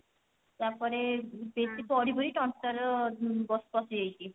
ତାପରେ ଏଠି ପଢି ପଢି ତଣ୍ଟି ତାର ବସି ଯାଇଛି